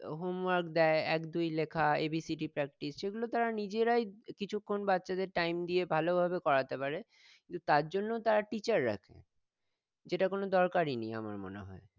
তো home work দেই এক দুই লেখা A B C D practice সেগুলো তারা নিজেরাই কিছুক্ষন বাচ্চাদের time দিয়ে ভালভাবে করাতে পারে কিন্তু তার জন্যও তারা teacher রাখে যেটা কোন দরকারই নেই আমার মনে হয়